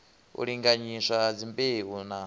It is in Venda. u linganyiswa ha dzimbeu na